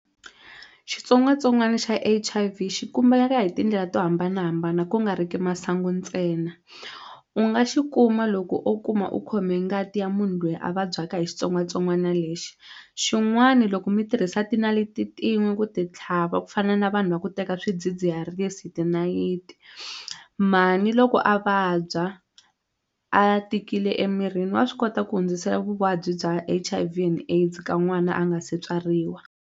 Xitsongwatsongwana xa H_I_V xi kumeka hi tindlela to hambanahambana ku nga ri ki masangu ntsena u nga xi kuma loko o kuma u khome ngati ya munhu loyi a vabyaka hi xitsongwatsongwana lexi xin'wani loko mi tirhisa tinaliti tin'we ku ti tlhava ku fana na vanhu va ku teka swidzidziharisi hi tinayiti mhani loko a vabya a tikile emirini wa swi kota ku hundzisela vuvabyi bya H_I_V and AIDS ka n'wana a nga se tswariwa.